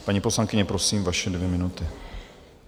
Paní poslankyně, prosím, vaše dvě minuty.